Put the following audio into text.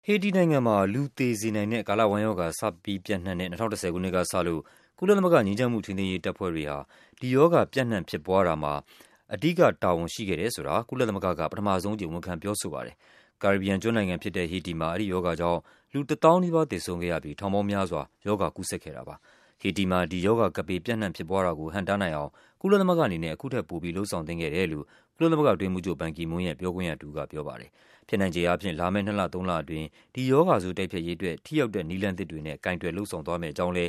ဟေတီ နိုင်ငံမှာ လူကိုသေစေနိုင်တဲ့ ကာလဝမ်းရောဂါ စတင် ပျံ့နှံ့ခဲ့တဲ့ ၂၀၁၀ ခုနှစ်ကစလို့ ကုလသမဂ္ဂ ငြိမ်းချမ်းရေး ထိန်းသိမ်းရေး တပ်ဖွဲ့တွေက ဒီရောဂါ ပျံ့နှံ့ဖြစ်ပွားအောင်လုပ်ရာမှာ ပါဝင်ခဲ့တယ်ဆိုတာကို ကုလသမဂ္ဂက ပထမဆုံးအကြိမ် ဝန်ခံပြောဆိုလိုက်ပါတယ်။ ကာရေဘီယံ ကျွန်းနိုင်ငံ ဟေတီမှာ ဒီရောဂါကြောင့်လူ၁ သောင်းနီးပါးသေဆုံးခဲ့ရပြီး ထောင်ပေါင်းများစွာ ရောဂါကူးစက်ခံခဲ့ရတာပါ။ ဟေတီမှာ ဒီရောဂါ ကပ်ဘေး ပျံ့နှံ့ဖြစ်ပွားမှုကိုဟန့်တားနိုင်အောင် ကုလသမဂ္ဂအနေနဲ့ အခုထက်ပိုပြီး လုပ်ဆောင်သင့်ခဲ့ပါတယ်လို့ ကုလသမဂ္ဂအတွင်းရေးမှူးချုပ်ဘန်ကီမွန်းရဲ့ ပြောခွင့်ရတဦးက ပြောဆိုပါတယ်။ ဖြစ်နိုင်ချေ လာမယ့် နှစ်လ-သုံးလအတွင်း ဒီရောဂါဆိုး တိုက်ဖျက်ရေးအတွက် ထိရောက်တဲ့ နည်းလမ်းသစ်တွေနဲ့ ကိုင်တွယ်လုပ်ဆောင်သွားမယ့်အကြောင်းလ